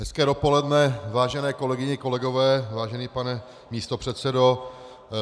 Hezké dopoledne, vážené kolegyně, kolegové, vážený pane místopředsedo.